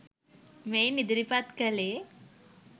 මෙයින් ඉදිරිපත් කළේ